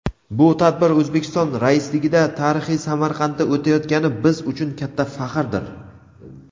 Bu tadbir O‘zbekiston raisligida tarixiy Samarqandda o‘tayotgani biz uchun katta faxrdir.